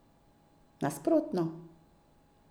Nasprotno!